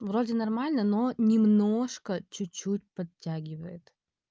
вроде нормально но немножко чуть-чуть подтягивает